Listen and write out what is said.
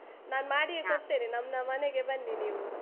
ನಾನ್ ಮಾಡಿಯೇ ಕೊಡ್ತೇನೆ, ನಮ್ನ ಮನೆಗೆ ಬನ್ನಿ ನೀವು.